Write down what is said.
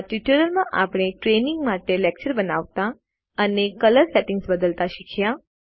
આ ટ્યુટોરીયલ માં આપણે ટ્રેઈનીંગ માટે લેકચર બનાવતા અને કલર સેટિંગ્સ બદલતા શીખ્યા